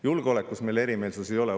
Julgeolekus meil erimeelsusi ei ole.